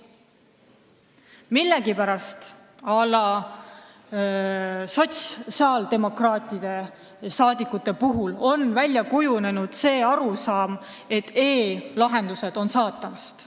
Millegipärast on näiteks sotsiaaldemokraatidest saadikutel välja kujunenud arusaam, et e-lahendused on saatanast.